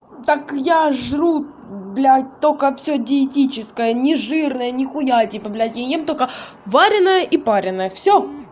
так я жру блять только все диетическое нежирное нихуя типа блять я ем только варёное и пареное всё